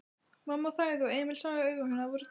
Mamma þagði og Emil sá að augu hennar voru döpur.